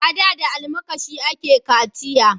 A da da almakashi a ke kaciya